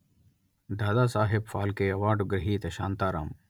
Dadasaheb Phalke award గ్రహీత శాంతారాం